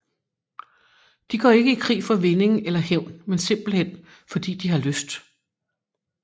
De går ikke i krig for vinding eller hævn men simpelthen fordi de har lyst